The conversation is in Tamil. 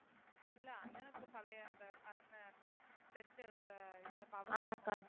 இல்ல அண்ணனுக்குப் பழைய அந்தக் கண்ணு test எடுத்த இதை